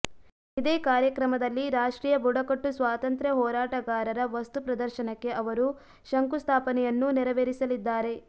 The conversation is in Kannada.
ಇದೇ ಕಾರ್ಯಕ್ರಮದಲ್ಲಿ ರಾಷ್ಟ್ರೀಯ ಬುಡಕಟ್ಟು ಸ್ವಾತಂತ್ರ್ಯ ಹೋರಾಟಗಾರರ ವಸ್ತುಪ್ರದರ್ಶನಕ್ಕೆ ಅವರು ಶಂಕುಸ್ಥಾಪನೆಯನ್ನೂ ನೆರವೇರಿಸಲಿದ್ದಾರೆ